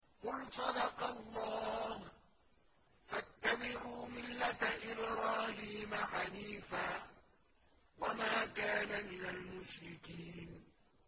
قُلْ صَدَقَ اللَّهُ ۗ فَاتَّبِعُوا مِلَّةَ إِبْرَاهِيمَ حَنِيفًا وَمَا كَانَ مِنَ الْمُشْرِكِينَ